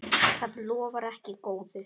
Það lofar ekki góðu.